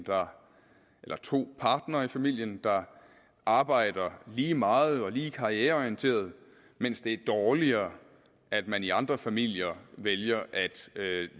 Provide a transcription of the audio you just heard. eller to partnere i familien der arbejder lige meget og er lige karriereorienterede mens det er dårligere at man i andre familier vælger at